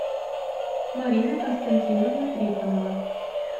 марина константиновна трифонова